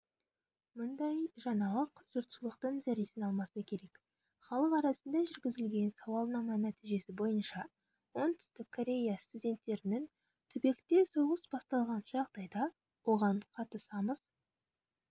мұндай жаңалық жұртшылықтың зәресін алмаса керек халық арасында жүргізілген сауалнама нәтижесі бойынша оңтүстік корея студенттерінің түбекте соғыс басталған жағдайда оған қатысамыз